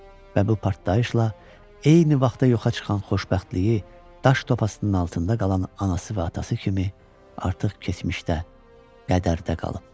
Və bu partlayışla eyni vaxtda yoxa çıxan xoşbəxtliyi, daş topasının altında qalan anası və atası kimi artıq keçmişdə, qədərdə qalıb.